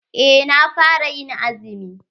Eh na fara yin azumi.